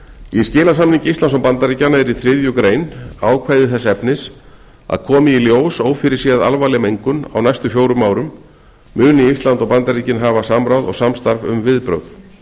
í skilasamningi íslands og bandaríkjanna er í þriðju grein ákvæði þess efnis að komi í ljós ófyrirséð alvarleg mengun á næstu fjórum árum muni ísland og bandaríkin hafa samráð og samstarf um viðbrögð